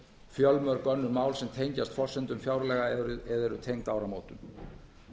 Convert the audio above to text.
fjölmörg önnur mál sem tengjast forsendum fjárlaga eða eru tengd áramótum